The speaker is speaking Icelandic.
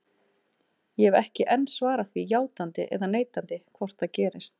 Ég hef ekki enn svarað því játandi eða neitandi hvort það gerist.